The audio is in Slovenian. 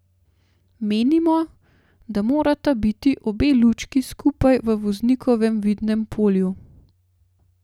Menimo, da morata biti obe lučki skupaj v voznikovem vidnem polju.